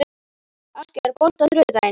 Askja, er bolti á þriðjudaginn?